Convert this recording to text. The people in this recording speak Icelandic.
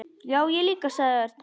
Já, ég líka sagði Örn.